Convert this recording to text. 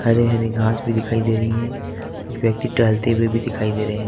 हरे हरे घास भी दिखाई दे रही है कुछ व्यक्ति टहलते हुए भी दिखाई दे रहे--